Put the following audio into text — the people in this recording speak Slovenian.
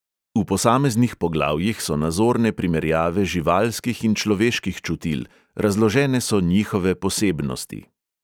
V posameznih poglavjih so nazorne primerjave živalskih in človeških čutil, razložene so njihove posebnosti.